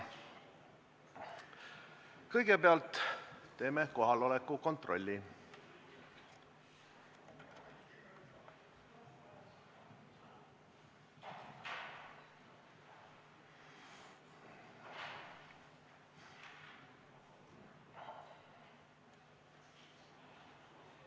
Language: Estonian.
Kõigepealt teeme kohaloleku kontrolli.